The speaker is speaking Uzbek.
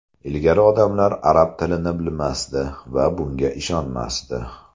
Ilgari odamlar arab tilini bilmasdi va bunga ishonmasdi.